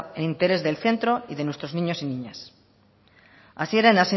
en el interés del centro y de nuestros niños y niñas hasieran